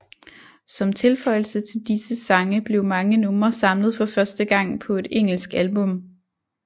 Som tilføjelse til disse sange blev mange numre samlet for første gang på et engelsk album